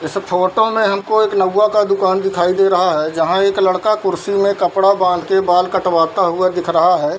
इस फोटो में हमको एक नउआ का दुकान दिखाई दे रहा है जहाँ एक लड़का कुर्सी मे कपड़ा बांध के बाल कटवाता हुआ दिख रहा है |